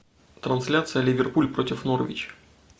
трансляция ливерпуль против норвич